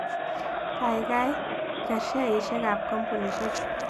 Gaigai ker sheaisiekap kampunisiechu